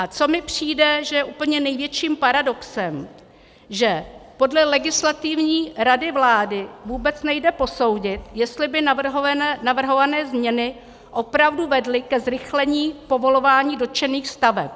A co mi přijde, že je úplně největším paradoxem, že podle Legislativní rady vlády vůbec nejde posoudit, jestli by navrhované změny opravdu vedly ke zrychlení povolování dotčených staveb.